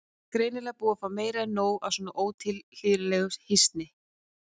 Greinilega búin að fá meira en nóg af svona ótilhlýðilegri hnýsni.